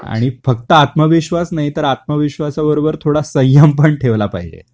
आणि, फक्त आत्मविश्वास नाही तर आत्मविश्वासाबरोबर थोडा संयम पण ठेवला पाहिजे.